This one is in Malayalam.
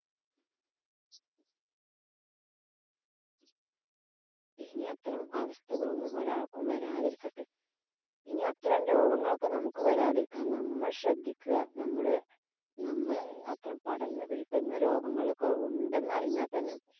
ഇനി അത്തരം അവസ്ഥകള്‍ ഒന്നും ഒരാള്‍ക്കും വരാതിരിക്കട്ടെ. ഇനി അത്തരം രോഗങ്ങളൊക്കെ വരാതിരിക്കാന്‍ നമ്മള് ശ്രദ്ധിക്കുക. നമ്മടെ നമ്മളെ അത്തരം പടര്‍ന്നു പിടിക്കുന്ന രോഗങ്ങള്‍ ഒക്കെ ഉണ്ടെന്ന് അറിഞ്ഞാല്‍ തന്നെ